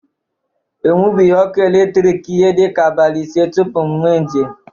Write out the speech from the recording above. E nwebughi ọkụ eletriki ihe dịka abalị ise tupu m mee njem.